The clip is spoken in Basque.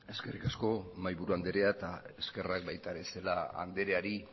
eskerrik asko mahaiburu andrea eta eskerrak baita ere celaá andreari